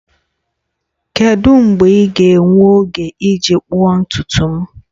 Kedu mgbe ị ga-enwe oge iji kpụọ ntutu m?